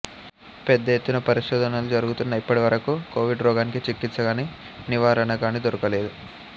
పెద్ద ఎత్తున పరిశోధనలు జరుగుతున్నా ఇప్పటివరకూ కోవిడ్రోగానికి చికిత్సగాని నివారణగాని దొరకలేదు